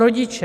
Rodiče.